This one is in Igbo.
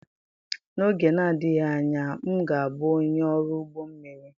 N'oge na-adịghị anya, m ga-abụ onye ọrụ ụgbọ mmiri.